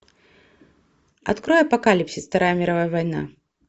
открой апокалипсис вторая мировая война